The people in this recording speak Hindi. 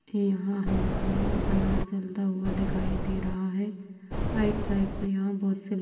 यहाँ हमको अनार जलता हुआ दिखाई दे रहा है। राइट साइड में यहाँ बहोत से --